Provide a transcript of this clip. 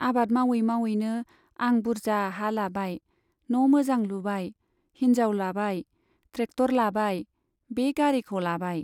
आबाद मावै मावैनो आं बुरजा हा लाबाय , न' मोजां लुबाय , हिनजाव लाबाय , ट्रेक्टर लाबाय , बे गारिखौ लाबाय।